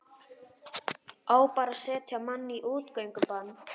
Á bara að setja mann í útgöngubann?